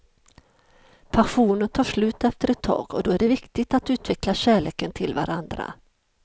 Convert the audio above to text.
Passionen tar slut efter ett tag och då är det viktigt att utveckla kärleken till varandra.